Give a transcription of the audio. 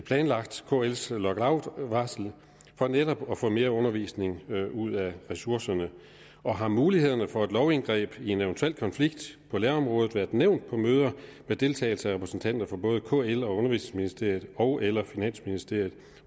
planlagt kls lockoutvarsel for netop at få mere undervisning ud af ressourcerne og har mulighederne for et lovindgreb i en eventuel konflikt på lærerområdet været nævnt på møder med deltagelse af repræsentanter for både kl og undervisningsministeriet ogeller finansministeriet